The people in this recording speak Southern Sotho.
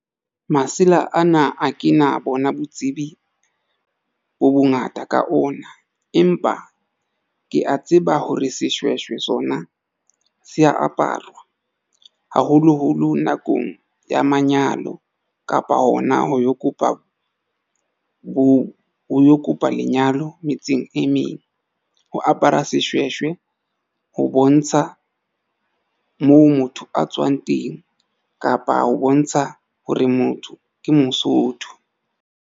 Masela ana a ke na bona botsebi bo bongata ka ona, empa ke a tseba hore seshweshwe sona se aparwa haholoholo nakong ya manyalo kapa hona ho yo kopa bo ho kopa lenyalo metseng e meng ho apara seshweshwe ho bontsha moo motho a tswang teng, kapa ho bontsha hore motho ke mosotho.